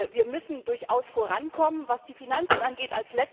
Wir müssen durchaus vorankommen, was die Finanzen angeht.